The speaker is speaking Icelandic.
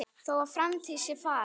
Þó að framtíð sé falin